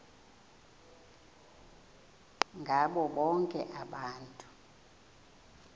ngabo bonke abantu